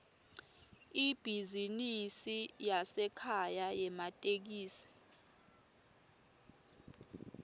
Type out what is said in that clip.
ibhizinisi yasekhaya yematekisi